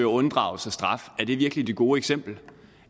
at unddrage sig straf er det virkelig det gode eksempel